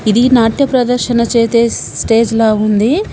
ఇది నాట్య ప్రదర్శన చేతే స్ స్టేజ్ లా ఉంది.